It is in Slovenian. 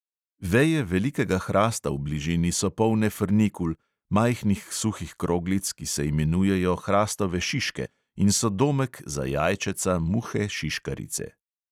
Veje velikega hrasta v bližini so polne frnikul, majhnih suhih kroglic, ki se imenujejo hrastove šiške in so domek za jajčeca muhe šiškarice.